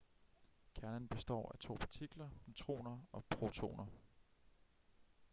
kernen består af to partikler neutroner og protoner